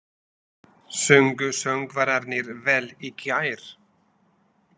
Sungu söngvararnir vel í gær?